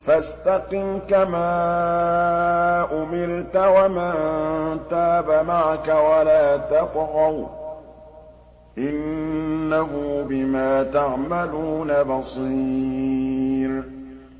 فَاسْتَقِمْ كَمَا أُمِرْتَ وَمَن تَابَ مَعَكَ وَلَا تَطْغَوْا ۚ إِنَّهُ بِمَا تَعْمَلُونَ بَصِيرٌ